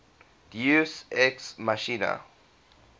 deus ex machina